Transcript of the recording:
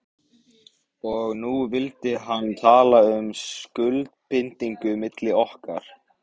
Og nú vildi hann tala um skuldbindingu milli okkar.